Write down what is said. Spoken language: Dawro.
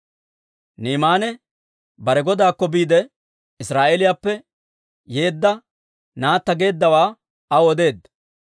Ni'imaane bare godaakko biide, Israa'eeliyaappe yeedda naatta geeddawaa aw odeedda.